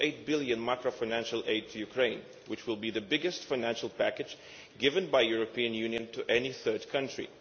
1.8 billion of macro financial aid to Ukraine, which will be the biggest financial package given by the European Union to any third country.